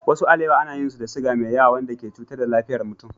Wasu alewa ana yin su da siga mai yawa wanda ke cutar da lafiyar mutum.